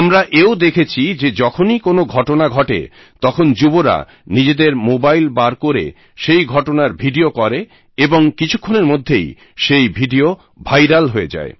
আমরা তো এও দেখেছি যে যখনই কোনো ঘটনা ঘটে তখন যুবরা নিজেদের মোবাইল বার করে সেই ঘটনার ভিডিও করে এবং কিছুক্ষণের মধ্যেই সেই ভিডিও ভাইরাল হয়ে যায়